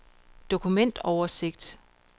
dokumentoversigt